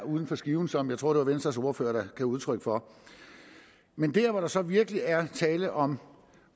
uden for skiven som jeg tror det var venstres ordfører der gav udtryk for men der hvor der så virkelig er tale om